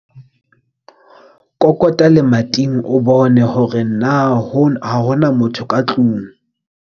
Kokota lemating o bone hore na ha ho na motho ka tlong.